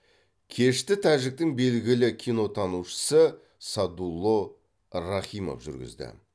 кешті тәжіктің белгілі кинотанушысы садулло рахимов жүргізді